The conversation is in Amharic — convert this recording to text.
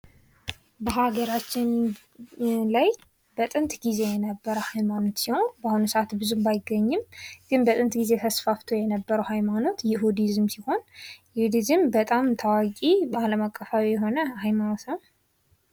በሀገራችን ላይ በጥንት ጊዜ የነበር ሀይማኖት ሲሆን በአሁኑ ሰዓት ብዙም ባይገኝም ግን በጥንት ጊዜ ተስፋፍቶ የነበረው ሀይማኖት ይሁዲዝም ሲሆን ይሁዲዝም በጣም ተዋቂ በአለም አቀፋዊ የሆነ ሃይማኖት ነው ።